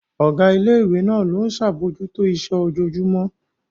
Ọ̀gá ilé ìwé náà ló ń ṣe àbójútó iṣẹ́ ojoojúmọ́